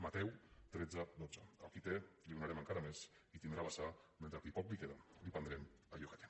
mateu tretze coma dotze al qui té li donarem encara més i tindrà a vessar mentre que al qui poc li queda li prendrem allò que té